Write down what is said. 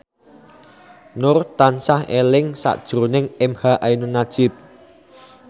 Nur tansah eling sakjroning emha ainun nadjib